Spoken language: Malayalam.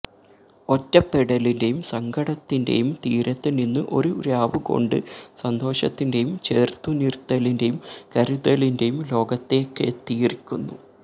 ഒറ്റപ്പെടലിന്റെയും സങ്കടത്തിന്റെയും തീരത്ത് നിന്ന് ഒരു രാവുകൊണ്ട് സന്തോഷത്തിന്റെയും ചേര്ത്തുനിര്ത്തലിന്റെയും കരുതലിന്റെയും ലോകത്തേക്കെത്തിയിരിക്കുന്നു